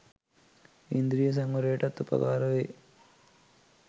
ඉන්ද්‍රිය සංවරයටත් උපකාර වේ.